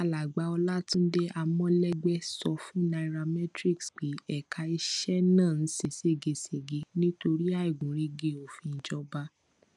alàgbà olatunde amolegbe sọ fún nairametrics pé ẹka iṣẹ náà ń ṣe ṣégeṣége nítorí àìgúnrégé òfin ìjọba